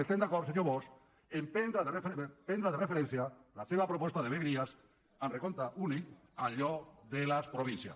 estem d’acord senyor bosch a prendre de referència la seva proposta de vegueries amb recompte únic en lloc de les províncies